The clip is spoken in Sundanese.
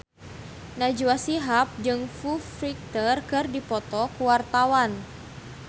Najwa Shihab jeung Foo Fighter keur dipoto ku wartawan